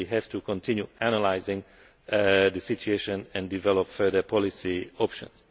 We have to continue analysing the situation and develop further policy options.